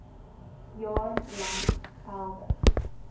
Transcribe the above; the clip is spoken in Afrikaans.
jaar lank geldig